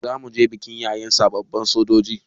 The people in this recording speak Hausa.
Zamuje bikin yaye sababbin sojoji